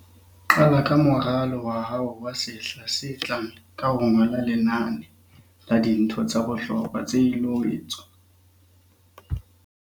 Qala ka moralo wa hao wa sehla se tlang ka ho ngola lenane la dintho tsa bohlokwa tse ilo etswa.